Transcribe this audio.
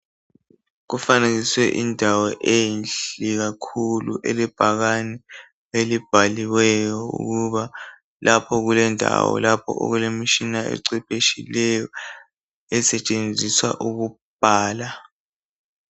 Kufanekiswe indawo enhle kakhulu elebhakani elibhaliweyo ukuba lapho kulendawo lapho okulemishina ecwepheshileyo esitshenziswa ukubhala